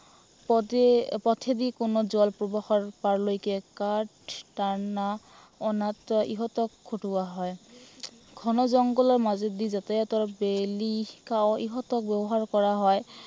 পথে পথেদি জল প্ৰৱেশৰ পাৰলৈকে কাঠ টনা, অনা অনাতো ইহঁতক খটুৱা হয়। ঘন জংঘলৰ মাজেদি যাতায়তৰ ইহঁতক ব্য়ৱহাৰ কৰা হয়।